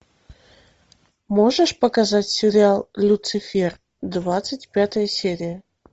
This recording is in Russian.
можешь показать сериал люцифер двадцать пятая серия